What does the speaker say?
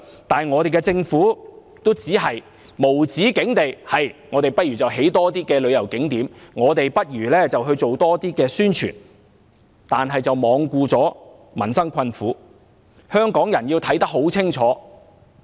但是，我們的政府只是無止境地說要興建更多旅遊景點，要做更多宣傳，卻罔顧民生困苦，香港人要看得很清楚。